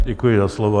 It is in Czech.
Děkuji za slovo.